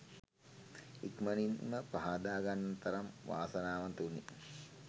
ඉක්මනින්ම පහදා ගන්නට තරම් වාසනාවන්ත වුනි.